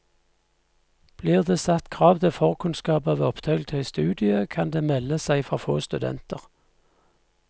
Blir det satt krav til forkunnskaper ved opptak til studiet, kan det melde seg for få studenter.